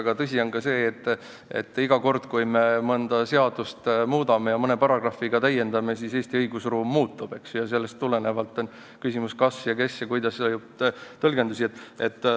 Aga tõsi on ka see, et iga kord, kui me mõnda seadust muudame ja mõne paragrahviga täiendame, siis Eesti õigusruum muutub, seetõttu on küsimused kas ja kes ja kuidas leidnud erisuguseid tõlgendusi.